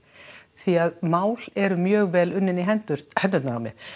því að mál eru mjög vel unnin í hendurnar hendurnar á mér